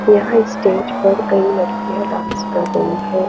यह स्टेज पर कही लडकिया डांस कर रही हैं।